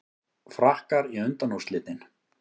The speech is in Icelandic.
Frakkar í undanúrslitin